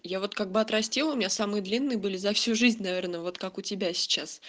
я вот как бы отрастила у меня самые длинные были за всю жизнь наверное вот как у тебя сейчас